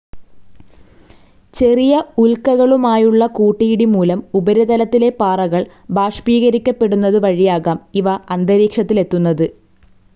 ചെറിയ ഉൽക്കകളുമായുള്ള കൂട്ടിയിടി മൂലം ഉപരിതലത്തിലെ പാറകൾ ബാഷ്പീകരിക്കപ്പെടുന്നതുവഴിയാകാം ഇവ അന്തരീക്ഷത്തിലെത്തുന്നത്.